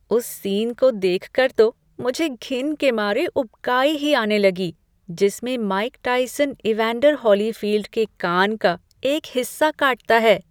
उस सीन को देखकर तो मुझे घिन के मारे उबकाई ही आने लगी जिसमें माइक टायसन इवैंडर होलीफील्ड के कान का एक हिस्सा काटता है।